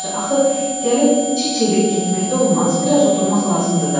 Yaxşı, axı gəlib çıxıb getmək də olmaz, biraz oturmaq lazımdır da.